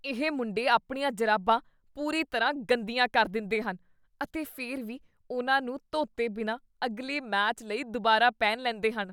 ਇਹ ਮੁੰਡੇ ਆਪਣੀਆਂ ਜੁਰਾਬਾਂ ਪੂਰੀ ਤਰ੍ਹਾਂ ਗੰਦੀਆਂ ਕਰ ਦਿੰਦੇਹਨ ਅਤੇ ਫਿਰ ਵੀ ਉਨ੍ਹਾਂ ਨੂੰ ਧੋਤੇ ਬਿਨਾਂ ਅਗਲੇ ਮੈਚ ਲਈ ਦੁਬਾਰਾ ਪਹਿਨ ਲੈਂਦੇ ਹਨ।